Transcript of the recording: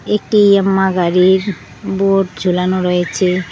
একটি য়ামা গাড়ির বোর্ড ঝোলানো রয়েছে।